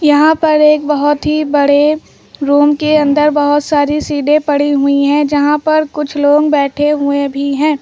यहाँ पर एक बहोत ही बड़े रूम के अंदर बहुत सारी सीडे पड़ी हुई हैं जहां पर कुछ लोग बैठे हुए भी हैं।